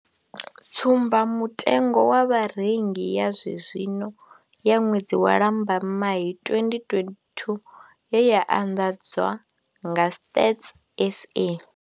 Tsumba mutengo wa Vharengi ya zwe zwino ya ṅwedzi wa Lambamai 2022 ye ya anḓadzwa nga Stats SA.